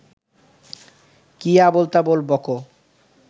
কী আবোলতাবোল বকো